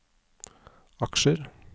aksjer